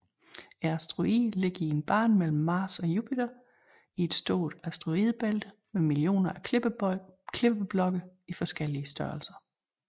Asteroiden ligger i en bane mellem Mars og Jupiter i et stort asteroidebælte med millioner af klippeblokke i forskellige størrelser